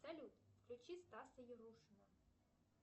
салют включи стаса ярушина